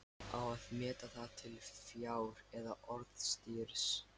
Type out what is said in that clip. Á að meta það til fjár eða orðstírs?